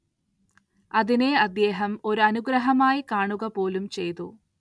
അതിനെ അദ്ദേഹം ഒരനുഗ്രഹമായി കാണുകപോലും ചെയ്തു.